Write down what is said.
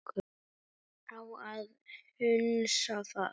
Á að hunsa það?